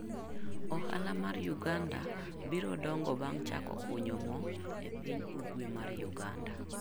Ohala mar Uganda biro dongo bang' chako kunyo mo e piny ugwe mar uganda.